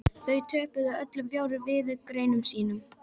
Þau töpuðu öllum fjórum viðureignum sínum